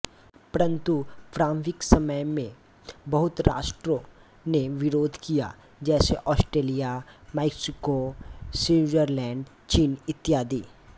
परन्तु प्रारम्भिक समय में बहुत राष्ट्रों ने विरोध किया जैसे ऑस्ट्रेलिया मेक्सिको स्विट्ज़रलैण्ड चीन इत्यादि